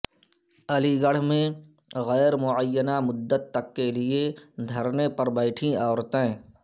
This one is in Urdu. علی گڑھ میں غیر معینہ مدت کے لیے دھرنے پر بیٹھیں عورتیں